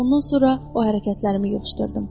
Ondan sonra o hərəkətlərimi yığışdırdım.